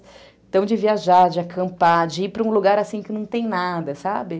Então, de viajar, de acampar, de ir para um lugar assim que não tem nada, sabe?